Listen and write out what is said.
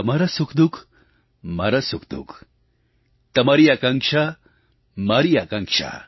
તમારાં સુખદુઃખ મારાં સુખદુઃખ તમારી આકાંક્ષા મારી આકાંક્ષા